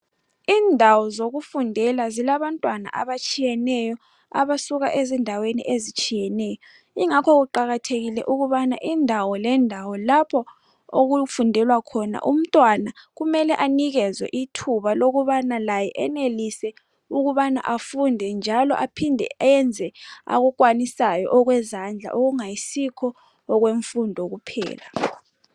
Indawo zokufundela zilabantwana abatshiyeneyo abasuka ezindaweni ezitshiyeneyo. Ingakho kuqakathekile ukubana indawo lendawo lapho okufundela khona umntwana kumele anikezwe ithuba lokubana laye enelise ukubana afunde njalo aphinde enze akukwanisayo okwezandla okungayisikho okwemfundo kuphela.